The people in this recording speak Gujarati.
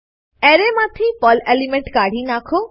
એરેમાંથી પર્લ એલિમેન્ટ કાઢી નાખો